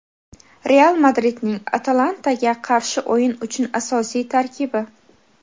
"Real" Madridning "Atalanta"ga qarshi o‘yin uchun asosiy tarkibi.